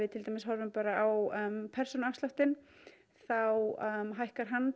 til dæmis horfum bara á persónuafsláttinn þá hækkar hann